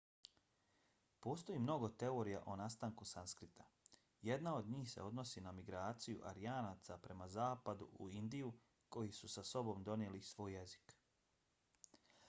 postoji mnogo teorija o nastanku sanskrita. jedna od njih se odnosi na migraciju aryanaca prema zapadu u indiju koji su sa sobom donijeli i svoj jezik